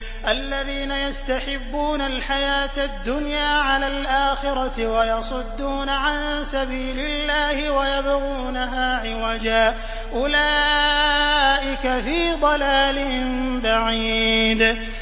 الَّذِينَ يَسْتَحِبُّونَ الْحَيَاةَ الدُّنْيَا عَلَى الْآخِرَةِ وَيَصُدُّونَ عَن سَبِيلِ اللَّهِ وَيَبْغُونَهَا عِوَجًا ۚ أُولَٰئِكَ فِي ضَلَالٍ بَعِيدٍ